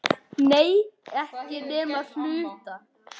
Nei, ekki nema að hluta.